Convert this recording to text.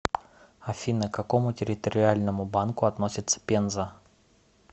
афина к какому территориальному банку относится пенза